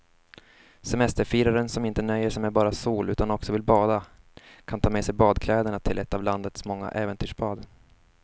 Semesterfiraren som inte nöjer sig med bara sol utan också vill bada kan ta med sig badkläderna till ett av landets många äventyrsbad.